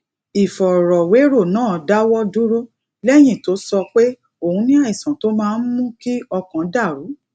ìfòròwérò náà dáwó dúró léyìn tó sọ pé òun ní àìsàn tó máa ń mú kí ọkàn dà rú